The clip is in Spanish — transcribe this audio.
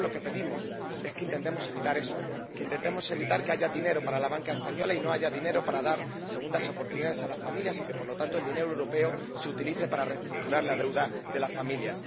Lo que nosotros pedimos es que intentemos evitar eso que intentemos evitar que haya dinero para la banca española y no haya dinero para dar segundas oportunidades a las familias y que, por lo tanto, el dinero europeo se utilice para reestructurar la deuda de las familias.